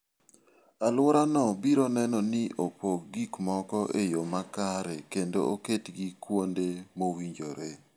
Alworano biro neno ni opog gik moko e yo makare kendo oketgi kuonde mowinjore.